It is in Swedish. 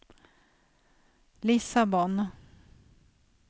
Lissabon